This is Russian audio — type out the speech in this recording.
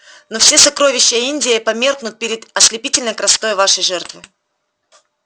но все сокровища индии померкнут перед ослепительной красотой вашей жертвы